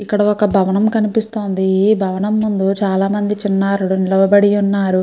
ఇక్కడ ఒక భవనం కనిపిస్తుంది ఈ భవనం ముందు చాలామంది చిన్నారులు నిలబడి ఉన్నారు.